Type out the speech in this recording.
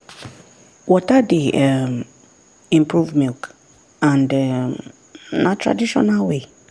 water dey um improve milk and um na traditional way.